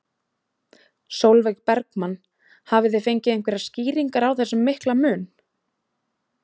Sólveig Bergmann: Hafið þið fengið einhverjar skýringar á þessum mikla mun?